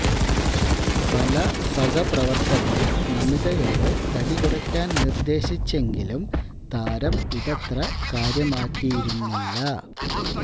പല സഹപ്രവര്ത്തകരും നമിതയോടെ തടി കുറക്കാന് നിര്ദ്ദേശിച്ചെങ്കിലും താരം ഇതത്ര കാര്യമാക്കിയിരുന്നില്ല